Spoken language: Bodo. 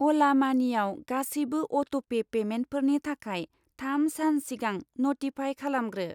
अला मानिआव गासैबो अट'पे पेमेन्टफोरनि थाखाय थाम सान सिगां नटिफाइ खालामग्रो।